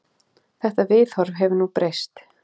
Þetta viðhorf hefur nú breyst.